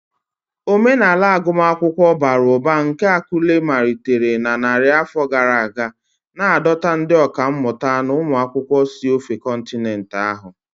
Omenala agụmakwụkwọ bara ụba nke Akure malitere na narị afọ gara aga, na-adọta ndị ọkà mmụta na ụmụ akwụkwọ si n'ofe kọntinent ahụ.